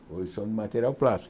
Hoje são de material plástico.